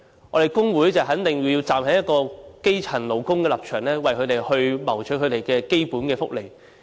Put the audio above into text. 我們工會一定要站在基層勞工的立場，為他們謀取基本福利。